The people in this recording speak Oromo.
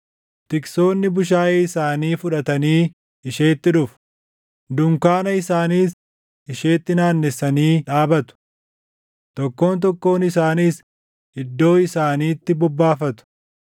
Tiksoonni bushaayee isaanii fudhatanii isheetti dhufu; dunkaana isaaniis isheetti naannessanii dhaabatu. Tokkoon tokkoon isaaniis iddoo isaaniitti bobbaafatu.”